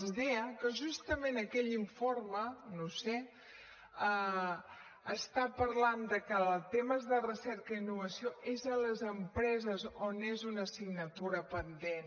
els deia que justament aquell informe no ho sé està parlant de que temes de recerca i innovació és a les empreses on és una assignatura pendent